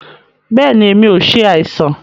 Bẹẹni, èmi o ṣe àìsàn.